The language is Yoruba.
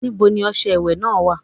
Níbo ni ọṣẹ ìwẹ̀ náà wà?